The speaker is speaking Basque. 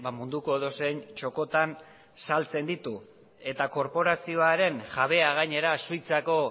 munduko edozein txokotan saltzen ditu eta korporazioaren jabea gainera suizako